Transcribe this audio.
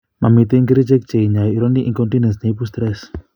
Momiten kerichek che inyoe urinary incontinence neibu stress